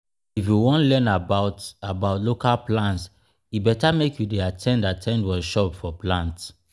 if you wan learn about about local plants e better make you dey at ten d at ten d workshops for plant.